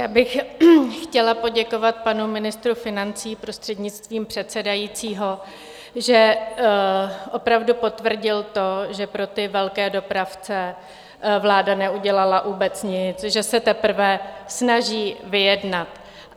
Já bych chtěla poděkovat panu ministru financí, prostřednictvím předsedajícího, že opravdu potvrdil to, že pro ty velké dopravce vláda neudělala vůbec nic, že se teprve snaží vyjednat.